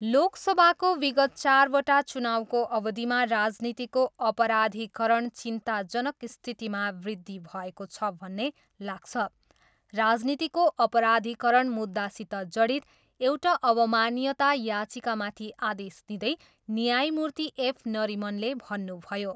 लोकसभाको विगत चारवटा चुनाउको अवधिमा राजनीतिको अपराधिकरण चिन्ताजनक स्थितिसम्म वृद्धि भएको छ भन्ने लाग्छ, राजनीतिको अपराधिकरण मुद्दासित जडित एउटा अवमान्यता याचिकामाथि आदेश दिँदै न्यायमूर्ति एफ नरिमनले भन्नुभयो।